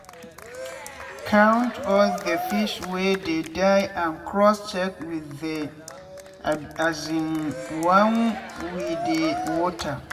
water wey no get oilsoap and dust dey protect fish.